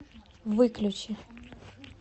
выключи